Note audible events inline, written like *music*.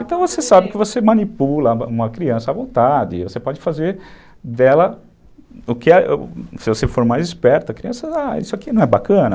Então, você sabe que você manipula uma criança à vontade, você pode fazer dela, *unintelligible* se você for mais esperto, a criança, ah, isso aqui não é bacana?